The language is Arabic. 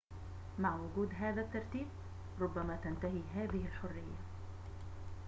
مع وجود هذا الترتيب ربما تنتهي هذه الحرية